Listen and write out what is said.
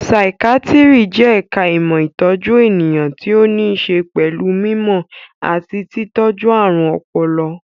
Saikíátíri jẹ́ ẹ̀ka ìmọ̀ ìtọ́jú ènìyàn tí ó ní ṣe pẹ̀lú mí mọ̀ àti tí tọ́jú ààrùn ọpọlọ